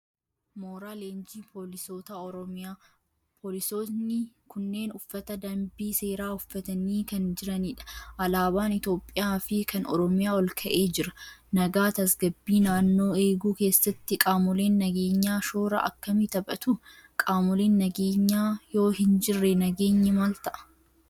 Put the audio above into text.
Mooraa leenjii poolisoota Oromiyaa. Poolisoonni kunneen uffata danbii seeraa uffatanii kan jiranidha. Alaabaan Itoophiyaa fi kan Oromiyaa Olka'ee jira. Nagaa tasgabbii naannoo eeguu keessatti qaamoleen nageenyaa shoora akkamii taphatu? Qaamoleen nageenyaa yoo hin jirre nageenyi maal ta'a?